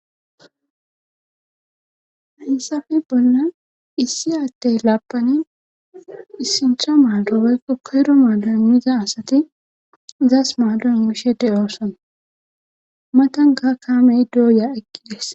haysafe bollan issi adey laabani issincha maado baykko koyro maadomiza asati zas maadon yishe de oosona matan ga kaamey dooya eqkides